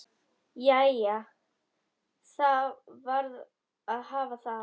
Jæja, það varð að hafa það.